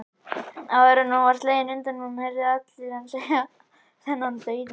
Áður en hún var slegin undan honum, heyrðu allir hann segja, þennan dauðamann